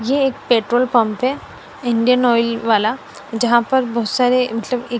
ये एक petrol pump है इंडियन आयल वाला जहा पर बहोत सारे मतलब एक--